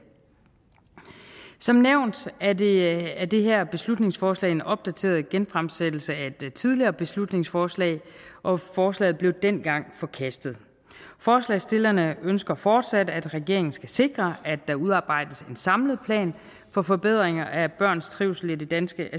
som nævnt er det er det her beslutningsforslag en opdateret genfremsættelse af et tidligere beslutningsforslag og forslaget blev dengang forkastet forslagsstillerne ønsker fortsat at regeringen skal sikre at der udarbejdes en samlet plan for forbedringer af børns trivsel i det danske